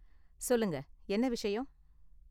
சொல்லுங்க, என்ன விஷயம்?